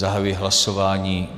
Zahajuji hlasování.